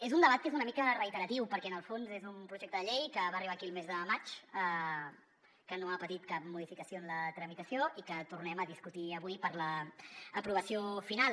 és un debat que és una mica reiteratiu perquè en el fons és un projecte de llei que va arribar aquí el mes de maig que no ha patit cap modificació en la tramitació i que el tornem a discutir avui per a l’aprovació final